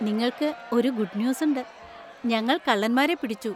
നിങ്ങൾക്ക് ഒരു good news ഉണ്ട് , ഞങ്ങൾ കള്ളന്മാരെ പിടിച്ചു.